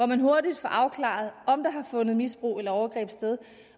man hurtigt afklaret om der har fundet misbrug eller overgreb sted